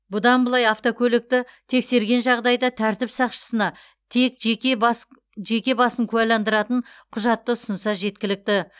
бұдан былай автокөлікті тексерген жағдайда тәртіп сақшысына тек жеке басын куәландыратын құжатты ұсынса жеткілікті